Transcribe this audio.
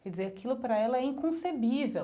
Quer dizer, aquilo para ela é inconcebível.